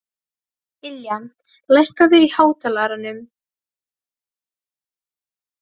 Ylja, lækkaðu í hátalaranum.